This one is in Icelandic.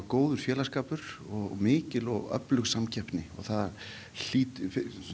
góður félagsskapur og mikil og öflug samkeppni og það hlýtur